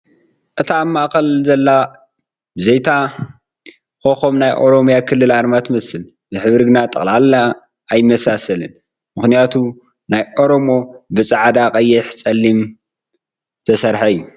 እታ ኣብ ማእኽል ዘላ ብዘይ 'ታ ኮኾብ ናይ ኦሮሚያ ክልል ኣርማ ትመስል ብሕብሪ ግን ጠቕላላ ኣይመሳሰላን ምኽንያቱም ናይ ኦሮሚያ ብ ፃዕዳን ቐይሕን ፀሊምን ዝተሰርሓ እዩ ።